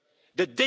the